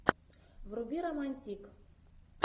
вруби романтик